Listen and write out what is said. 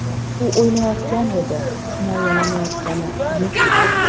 U o‘ynayotgan edi, himolanayotgani yo‘q edi.